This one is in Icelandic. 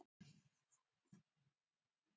Hunang og blóð